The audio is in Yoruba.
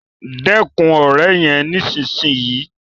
Dẹkun òré yén nísìsiyìí!